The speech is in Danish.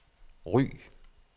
Ry